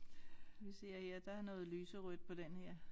Vi ser her der er noget lyserødt på den her